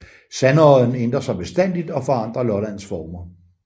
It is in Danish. Sandodden ændrer sig bestandigt og forandrer Lollands former